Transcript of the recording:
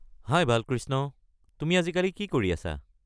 হাই বালকৃষ্ণ, তুমি আজিকালি কি কৰি আছা?